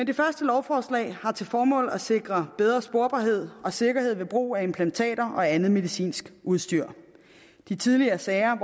det første lovforslag har til formål at sikre bedre sporbarhed og sikkerhed ved brug af implantater og andet medicinsk udstyr de tidligere sager